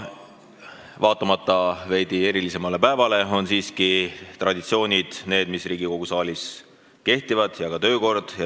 Vaatamata veidi erilisemale päevale on siiski traditsioonid need, mis Riigikogu saalis kehtivad, ja kehtib ka töökord.